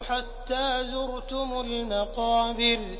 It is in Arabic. حَتَّىٰ زُرْتُمُ الْمَقَابِرَ